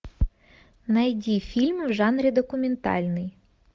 найди фильм в жанре документальный